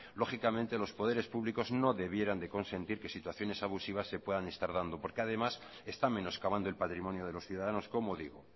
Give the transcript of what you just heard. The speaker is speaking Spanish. lógicamente los poderes públicos no debieran de consentir que situaciones abusivas se puedan estar dando porque además está menoscabando el patrimonio de los ciudadanos como digo